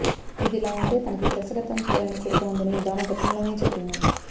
ఇదిలా ఉంటే తనకి దర్శకత్వం చేయాలనే కోరిక ఉందని ఈ భామ గతంలోనే చెప్పింది